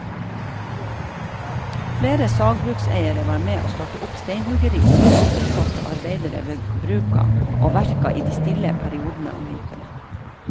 Flere sagbrukseiere var med å starte opp steinhuggeri som sysselsatte arbeidere ved bruka og verka i de stille periodene om vinteren.